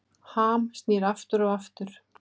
Ham snýr aftur og aftur